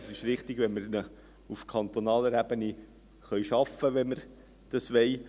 Es ist richtig, wenn wir ihn auf kantonaler Ebene schaffen können, wenn wir dies wollen.